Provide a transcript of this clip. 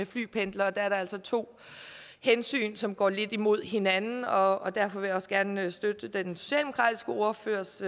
flypendlere er der altså to hensyn som går lidt imod hinanden og derfor vil jeg også gerne støtte den socialdemokratiske ordførers